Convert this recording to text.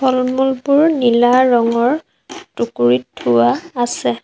ফল-মূলবোৰ নীলা ৰঙৰ টুকুৰিত থোৱা আছে।